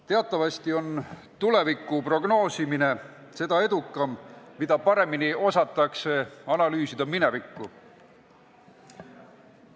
Teatavasti on tuleviku prognoosimine seda edukam, mida paremini osatakse analüüsida minevikku.